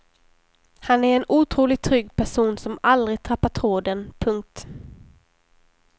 Han är en otroligt trygg person som aldrig tappar tråden. punkt